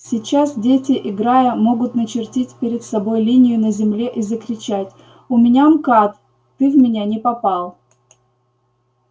сейчас дети играя могут начертить перед собой линию на земле и закричать у меня мкад ты в меня не попал